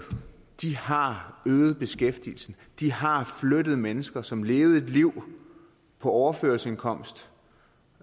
de har øget beskæftigelsen de har flyttet mennesker som levede et liv på overførselsindkomst